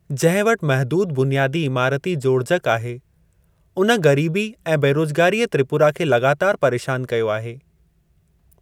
जंहिं वटि महदूद बुनियादी इमारती जोड़जक आहे, उन गरीबी ऐं बेरोजगारीअ त्रिपुरा खे लॻातार परेशान कयो आहे।